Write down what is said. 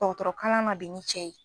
Dɔgɔtɔrɔ kalan na bi ni cɛ ye.